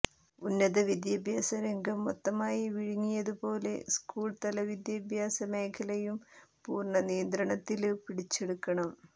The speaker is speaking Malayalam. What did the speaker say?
ഉന്നത വിദ്യാഭ്യാസരംഗം മൊത്തമായി വിഴുങ്ങിയതുപോലെ സ്കൂള്തല വിദ്യാഭ്യാസ മേഖലയും പൂര്ണനിയന്ത്രണത്തില് പിടിച്ചെടുക്കണം